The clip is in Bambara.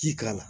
Ji k'a la